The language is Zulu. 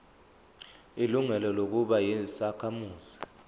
ilungelo lokuba yisakhamuzi